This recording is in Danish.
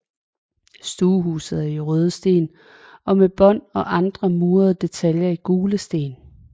Stuehuset er i røde sten og med bånd og andre murede detaljer i gule sten